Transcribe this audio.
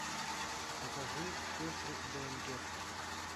покажи сестры бэнгер